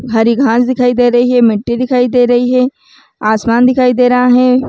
हरी घास दिखाई दे रही है ममिट्टी दिखाई दे रही है आसमान दिखाई दे रहा है ।--